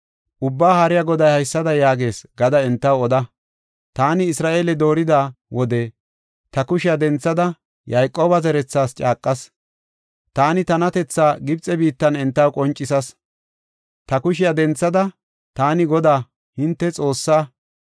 Ubbaa Haariya Goday haysada yaagees gada entaw oda. ‘Taani Isra7eele doorida wode ta kushiya denthada Yayqooba zerethas caaqas. Taani tanatethaa Gibxe biittan entaw qoncisas. Ta kushiya denthada, taani Godaa, hinte Xoossa.